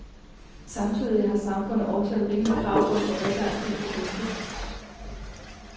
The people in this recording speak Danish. Samtidig har samfundet også et rimeligt krav om at få adgang til produktet.